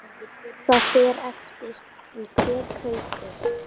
Það fer eftir því hver kaupir.